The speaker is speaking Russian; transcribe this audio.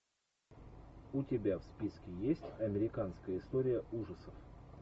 у тебя в списке есть американская история ужасов